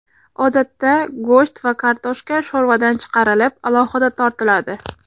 Odatda go‘sht va kartoshka sho‘rvadan chiqarilib, alohida tortiladi.